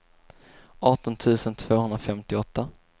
arton tusen tvåhundrafemtioåtta